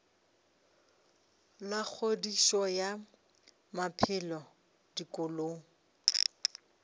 la kgodišo ya maphelo dikolong